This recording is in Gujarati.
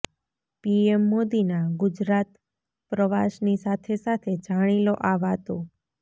પીએમ મોદીના ગુજરાત પ્રવાસની સાથે સાથે જાણી લો આ વાતો